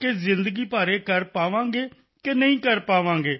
ਕਿ ਜ਼ਿੰਦਗੀ ਭਰ ਇਹ ਕਰ ਪਾਵਾਂਗੇ ਕਿ ਨਹੀਂ ਕਰ ਪਾਵਾਂਗੇ